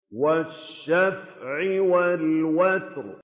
وَالشَّفْعِ وَالْوَتْرِ